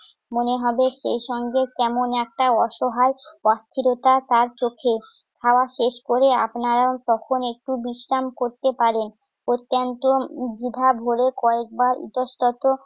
মনে হবে। সেই সঙ্গে কেমন একটা অসহায় অস্থিরতা তার চোখে। খাওয়া শেষ করে আপনার তখন একটু বিশ্রাম করতে পারেন। অত্যন্ত দ্বিধাভরে কয়েকবার ইতঃস্তত